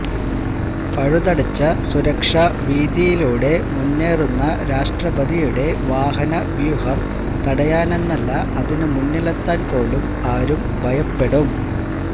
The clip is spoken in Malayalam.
പഴുതടച്ച സുരക്ഷാവീഥിയിലൂടെ മുന്നേറുന്ന രാഷ്ട്രപതിയുടെ വാഹനവൂഹം തടയാനെന്നല്ല അതിന് മുന്നിലെത്താന് പോലും ആരും ഭയപ്പെടും